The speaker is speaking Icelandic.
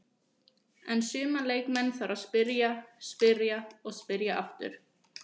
En suma leikmenn þarf að spyrja, spyrja og spyrja aftur.